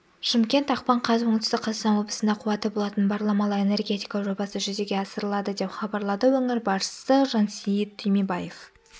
шымкент ақпан қаз оңтүстік қазақстан облысында қуаты болатын баламалы энергетика жобасы жүзеге асырылады деп хабарлады өңір басшысы жансеит түймебаев